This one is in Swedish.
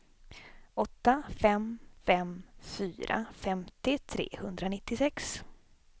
åtta fem fem fyra femtio trehundranittiosex